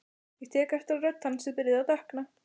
Ég tek eftir að rödd hans er byrjuð að dökkna.